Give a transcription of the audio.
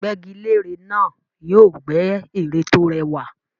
Gbẹ́gilére náà yóò gbẹ́ ère tó rẹwà